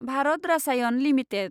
Bharat Rasayan limited